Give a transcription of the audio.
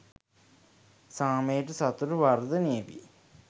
සාමය සතුට වර්ධනය වේ.